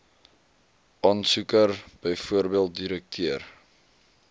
aansoeker bv direkteur